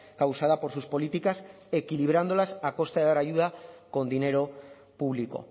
causada por sus políticas equilibrándolas a costa de dar ayuda con dinero público